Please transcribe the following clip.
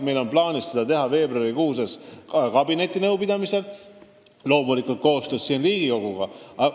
Meil on plaanis seda teha veebruarikuus kabinetinõupidamisel ja loomulikult teeme siin koostööd ka Riigikoguga.